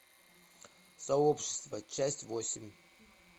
сообщество часть восемь